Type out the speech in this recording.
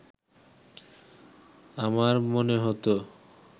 আমার মনে হতো